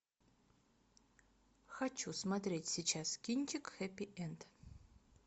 хочу смотреть сейчас кинчик хэппи энд